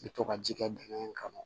I bɛ to ka ji kɛ dingɛ in kɔnɔ